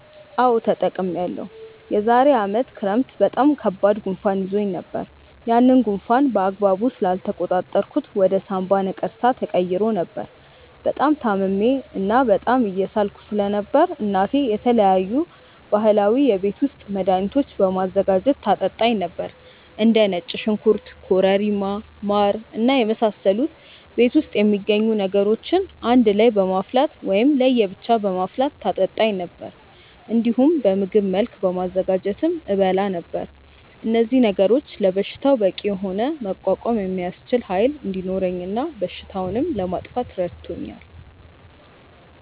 አዎ ተጠቅሜያለሁ። የዛሬ አመት ክረምት በጣም ከባድ ጉንፋን ይዞኝ ነበር። ያንን ጉንፋን በአግባቡ ስላልተቆጣጠርኩት ወደ ሳምባ ነቀርሳ ተቀይሮ ነበር። በጣም ታምሜ እና በጣም እየሳልኩ ስለነበር እናቴ የተለያዩ ባህላዊ የቤት ውስጥ መድሀኒቶችን በማዘጋጀት ታጠጣኝ ነበር። እንደ ነጭ ሽንኩርት ኮረሪማ ማር እና የመሳሰሉ ቤት ውስጥ የሚገኙ ነገሮችን በአንድ ላይ በማፍላት ወይም ለየ ብቻ በማፍላት ታጠጣኝ ነበር። እንዲሁም በምግብ መልክ በማዘጋጀትም እበላ ነበር። እነዚህ ነገሮች ለበሽታው በቂ የሆነ መቋቋም የሚያስችል ኃይል እንዲኖረኝ እና በሽታውንም ለማጥፋት ረድቶኛል።